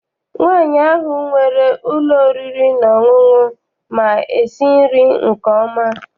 Nri nwaanyị ahụ nwere ụlọ oriri na ọṅụṅụ ma esi nri nke ọma.